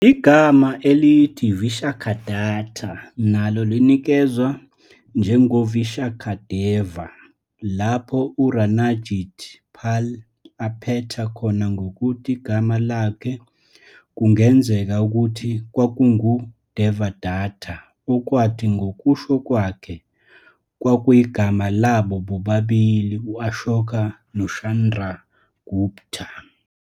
Igama elithi Vishakhadatta nalo linikezwa njengoVishakhadeva lapho uRanajit Pal aphetha khona ngokuthi igama lakhe kungenzeka ukuthi kwakunguDevadatta okwathi, ngokusho kwakhe, kwakuyigama labo bobabili u-Ashoka noChandragupta.